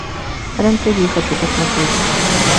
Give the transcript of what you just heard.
рен тв хочу посмотреть